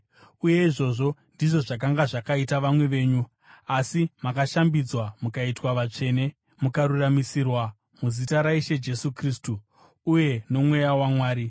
Uye izvozvo ndizvo zvakanga zvakaita vamwe venyu. Asi makashambidzwa, mukaitwa vatsvene, mukaruramisirwa muzita raIshe Jesu Kristu, uye noMweya waMwari.